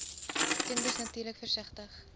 kinders natuurlik versigtig